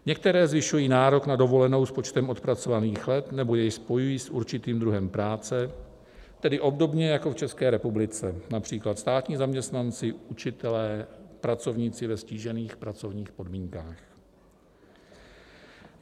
Některé zvyšují nárok na dovolenou s počtem odpracovaných let nebo jej spojují s určitým druhem práce, tedy obdobně jako v České republice například státní zaměstnanci, učitelé, pracovníci ve ztížených pracovních podmínkách.